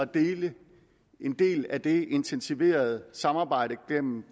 dele en del af det intensiverede samarbejde gennem